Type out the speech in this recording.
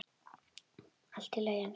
Allt í lagi, elskan.